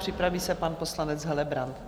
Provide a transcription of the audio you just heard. Připraví se pan poslanec Helebrant.